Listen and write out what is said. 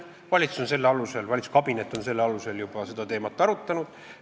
Valitsuskabinet on selle alusel juba seda teemat arutanud.